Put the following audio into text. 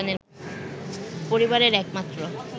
পরিবারের এক মাত্র